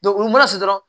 u mana se dɔrɔn